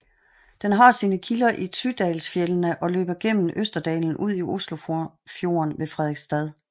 Den har sine kilder i Tydalsfjellene og løber gennem Østerdalen ud i Oslofjorden ved Fredrikstad